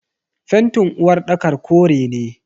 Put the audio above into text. fentin uwarɗakar kore ne.